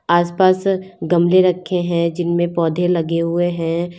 आसपास गमले रखे हैं जिनमें पौधे लगे हुए हैं।